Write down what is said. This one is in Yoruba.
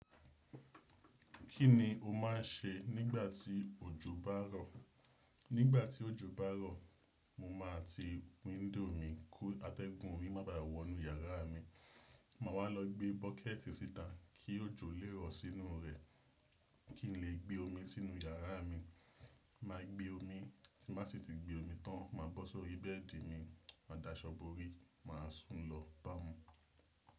Kí ni o máa ń ṣe nígbà tí òjò bá rọ̀? Nígbà tí òjò bá rọ̀, mo máa ti wíńdò mi kó atẹ́gùn omi má bàà wọ inú yàrá mi. Máa wá lọ gbé bọ́kẹ́ẹ̀tì síta kí òjò le rọ̀ sínú rẹ̀ kí n lè gbé omi sínú yàrá mi. Má gbé omi tí má sì ti gbé omi tán, mà bọ́ sórí bẹ́ẹ̀dì mi. Màdàsobórí, mà sùn lọ bàmù.